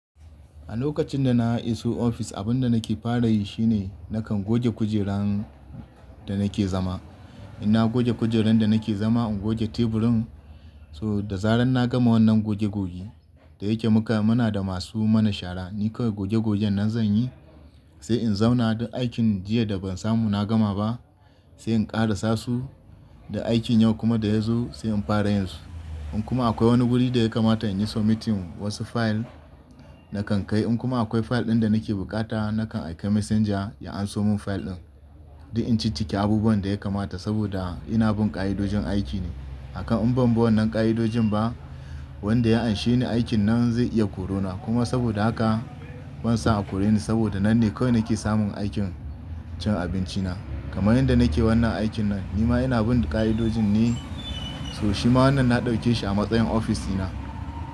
A lokacin da na iso ofis abun da nake fara yi shine, nakan goge kujeran da nake zama. In na goge kujeran da nake zama, in goge teburin. So da zarar na gama wannan goge goge, da yake muka muna da masu mana shara, ni kawai goge gogen nan zan yi, sai in zauna duk aikin jiya da ban samu na gama ba, sai in ƙara sasu da aikin yau kuma da ya zo sai in fara yinsu. In kuma akwai wani guri da ya kamata in yi submitting wasu fayil nakan kai. In kuma akwai fayil ɗin da nake bukata nakan aika messenger ya anso mun fayil ɗin, don in ciccike abubuwan da ya kamata saboda ina bin ƙa'idojin aiki ne. Akan in ban bi wannan ƙa'idojin ba wanda ya anshe ni aikin nan zai iya korona kuma, saboda haka ban so a kore ni saboda nan ne kawai nake samun aikin cin abinci na. Kamar yanda nake wannan aikin nan, ni ma ina bin ƙa'idojin ne, so shi ma wannan na ɗauke shi a matsayin ofis ɗina.